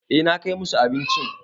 Eh na kai musu abincin.